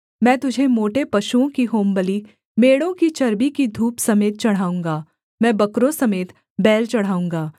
मैं तुझे मोटे पशुओं की होमबलि मेढ़ों की चर्बी की धूप समेत चढ़ाऊँगा मैं बकरों समेत बैल चढ़ाऊँगा सेला